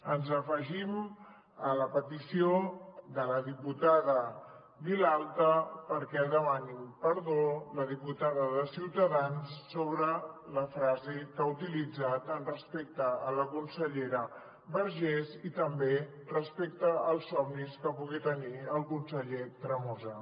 ens afegim a la petició de la diputada vilalta perquè demani perdó la diputada de ciutadans sobre la frase que ha utilitzat respecte a la consellera vergés i també respecte als somnis que pugui tenir el conseller tremosa